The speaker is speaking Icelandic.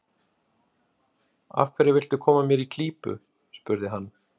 Af hverju viltu koma mér í klípu? spurði hann.